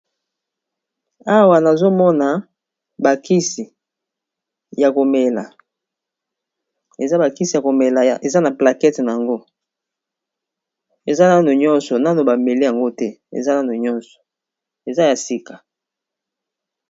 Awa nazomona bakisi ya komela eza bakisi ya komela eza na plakete nango eza nano nyonso nano bameli yango te eza nano nyonso eza ya sika.